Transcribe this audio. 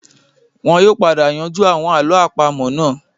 Wọn yóò padà yanjú àwọn àlọ́ àpamọ́ náà